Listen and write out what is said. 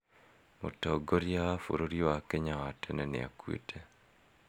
Mũtongoria wa bũrũri wa Kenya wa tene nĩakuĩte